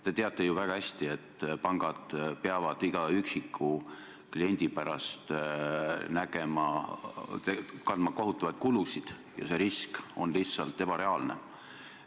Te teate ju väga hästi, et pangad peavad iga üksiku kliendi pärast kandma kohutavaid kulusid ja risk on lihtsalt ebareaalne.